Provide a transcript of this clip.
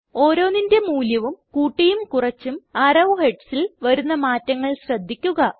ഓരോന്നിന്റെ മൂല്യവും കൂട്ടിയും കുറച്ചും അറോ headsൽ വരുന്ന മാറ്റങ്ങൾ ശ്രദ്ധിക്കുക